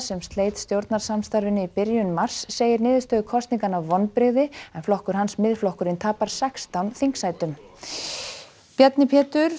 sem sleit stjórnarsamstarfinu í byrjun mars segir niðurstöðu kosninganna vonbrigði en flokkur hans Miðflokkurinn tapar sextán þingsætum Bjarni Pétur